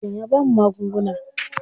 Likitan ya bamu magunguna.